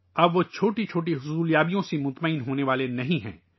اب وہ چھوٹی چھوٹی کامیابیوں سے مطمئن ہونے والے نہیں ہیں